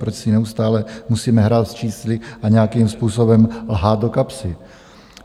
Proč si neustále musíme hrát s čísly a nějakým způsobem lhát do kapsy?